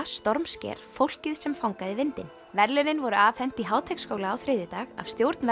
stormsker fólkið sem fangaði vindinn verðlaunin voru afhent í Háteigsskóla á þriðjudag af stjórn